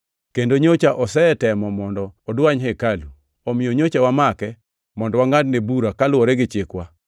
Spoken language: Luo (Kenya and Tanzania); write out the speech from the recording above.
kendo nyocha osetemo mondo odwany hekalu, omiyo nyocha wamake [mondo wangʼadne bura kaluwore gi chikwa.